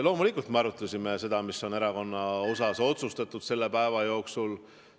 Loomulikult arutasime me seda, mis oli erakonna asjus selle päeva jooksul otsustatud.